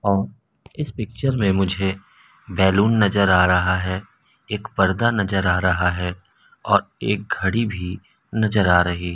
और इस पिक्चर में मुझे बैलून नजर आ रहा है एक पर्दा नजर आ रहा है और एक घड़ी भी नजर आ रही--